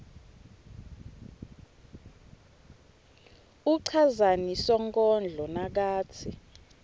uchazani sonkondlo nakatsi